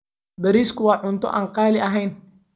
Bariiska waa cunto aan qaali ahayn.